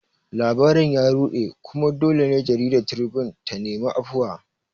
Labarin ya ruɗe, kuma dole ne jaridar Tribune ta nemi afuwa